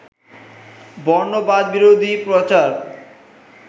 বর্ণবাদবিরোধী প্রচার